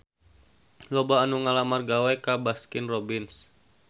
Loba anu ngalamar gawe ka Baskin Robbins